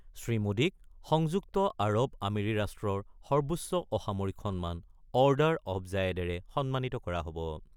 শ্ৰীমোদীক সংযুক্ত আৰৱ আমিৰি ৰাষ্টই সৰ্বোচ অসামৰিক সন্মান অৰ্ডাৰ অৱ জায়েদেৰে সন্মানিত কৰা হ'ব।